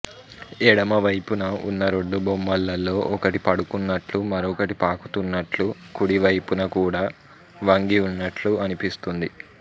ఎడమ వైపున ఉన్న రెండు బొమ్మలలో ఒకటి పడుకున్నట్లు మరొకటి పాకుతున్నట్లు కుడి వైపున కూడా వంగి ఉన్నట్లు అనిపిస్తుంది